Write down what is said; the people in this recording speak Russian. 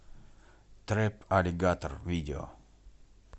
трэп аллигатор видео